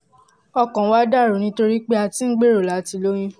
ọkàn wa dà rú nítorí pé a ti ń gbèrò láti lóyún